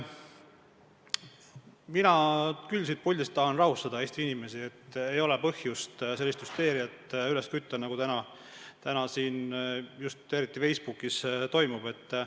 Mina aga tahan küll siit puldist Eesti inimesi rahustada: ei ole põhjust sellist hüsteeriat üles kütta, nagu praegu eriti Facebookis toimub.